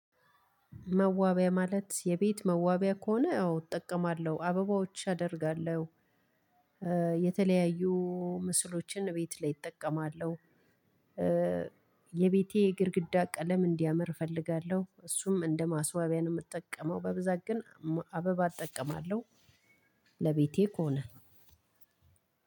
መዋቢያ ማለት የቤት መዋቢያ ከሆነ አዎ እጠቀማለሁ አበባዎች አደርጋለሁ። የተለያዩ ምስሎችን ቤት ላይ እጠቀማለሁ። የቤቴ ግድግዳ ቀለም እንዲያምር እፈልጋለሁ እሱም እንደ ማስዋቢያ ነው የምጠቀመው በብዛት ግን አበባ እጠቀማለሁ። ለቤቴ ከሆነ